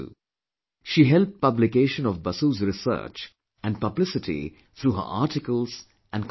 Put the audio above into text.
She helped publication of Basu's research and publicity through her articles and conferences